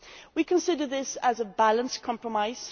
We consider this to be a balanced compromise.